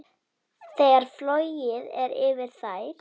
Þegar flogið er yfir þær.